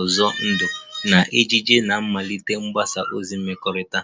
ụzọ ndụ na ejiji na mmelite mgbasa ozi mmekọrịta